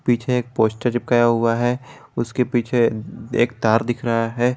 पीछे एक पोस्टर निकला हुआ है उसके पीछे एक तार दिख रहा है।